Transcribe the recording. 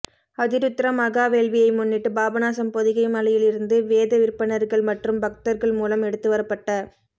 அதிருத்ர மகா வேள்வியை முன்னிட்டு பாபநாசம் பொதிகை மலையில் இருந்து வேத விற்பன்னர்கள் மற்றும் பக்தர்கள் மூலம் எடுத்து வரப்பட்ட